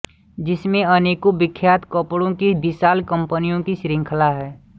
जिसमे अनेको विख्यात कपड़े की विशाल कम्पनियों की शृंखला हैं